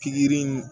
Pikiri in